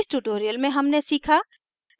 इस tutorial में हमने सीखा